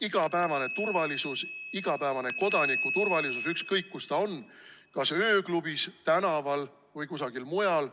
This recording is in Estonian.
Igapäevane turvalisus, igapäevane kodaniku turvalisus, ükskõik, kus ta on, kas ööklubis, tänaval või kusagil mujal ...